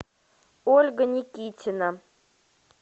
ольга никитина